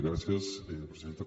gràcies presidenta